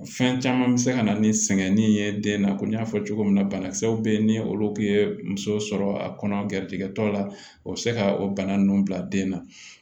Fɛn caman bɛ se ka na ni sɛgɛnni ye den na ko n y'a fɔ cogo min na banakisɛw bɛ yen ni olu tun ye muso sɔrɔ a kɔnɔ gɛrisigɛ tɔ la o bɛ se ka o bana ninnu bila den na